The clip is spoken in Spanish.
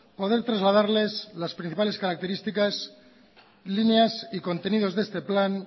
poder trasladarles las principales características líneas y contenidos de este plan